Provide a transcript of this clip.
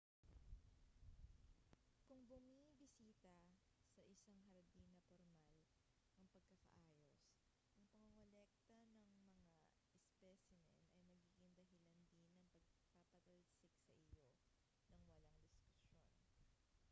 kung bumibisita sa isang hardin na pormal ang pagkakaayos ang pangongolekta ng mga ispesimen ay magiging dahilan din ng pagpapatalsik sa iyo nang walang diskusyon